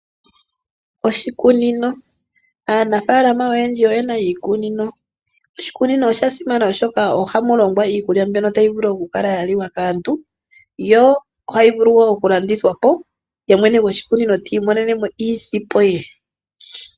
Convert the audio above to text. Oshikunino Aanafaalama oyendji oyena iikunino. Oshikunino osha simana oshoka oha mu longwa iikulya mbyono tayi vulu oku kala ya liwa kaantu yo ohayi vulu wo oku landithwa po ye mwene ti i monene mo iisimpo ye.